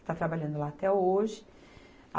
Está trabalhando lá até hoje.